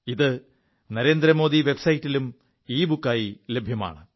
ഇത് നരേന്ദ്ര മോദി വെബ് സൈറ്റിലും ഇബുക്കായി ലഭ്യമാണ്